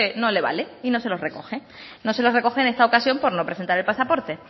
no le vale y no se los recoge no se los recoge en esta ocasión por no presentar el pasaporte